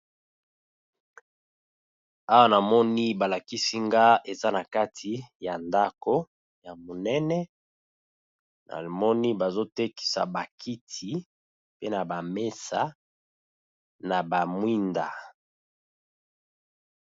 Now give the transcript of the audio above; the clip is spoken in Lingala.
Awa na moni ba lakisi nga eza na kati ya ndaku monene, Na moni bazo tekisa ba kit,i pe na ba mesa, na ba mwinda .